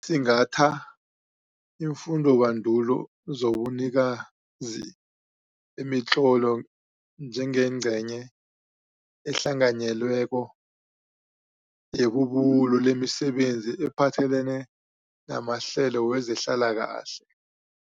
Singatha iimfundobandulo zobunikazi bemitlolo njengengcenye ehlanganyelweko yebubulo lemisebenzi ephathelene namahlelo wezehlalakahle.